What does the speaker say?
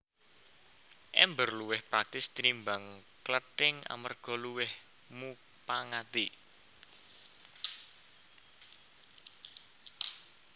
Èmbèr luwih praktis tinimbang klething amarga luwih mupangati